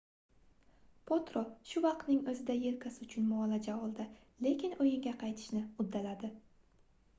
potro shu vaqtning oʻzida yelkasi uchun muolaja oldi lekin oʻyinga qaytishni uddaladi